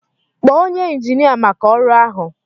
Kpọọ onye injinia maka ọrụ ahụ